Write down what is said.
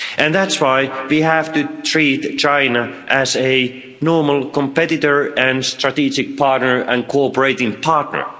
That's why we have to treat China as a normal competitor and strategic partner and cooperating partner.